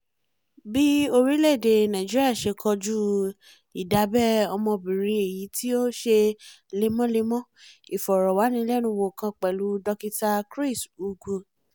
bí orílẹ̀-èdè nàìjíríà ṣe kójú ìdabẹ̀ ọmọbìnrin èyí tí ó ń ṣe lemọ́lemọ́ ìfọ̀rọ̀wánilẹ́nuwò kan pẹ̀lú dókítà chris ugwu